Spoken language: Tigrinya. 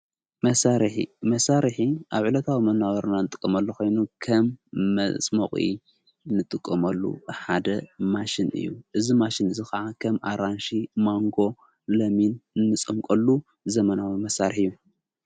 መሳሪሕ መሣርሕ ኣብ ዕለታዊ መናባብሮና ንጥቆመሉ ኾይኑ ከም መጽምቝ ንጥቆመሉ ሓደ ማሽን እዩ እዝ ማሽን እዝ ኸዓ ኸም ኣራንሺ፣ ማንጎ፣ ለሚን ፣ንጾምቆሉ ዘመናዊ መሣርሕ እዩ።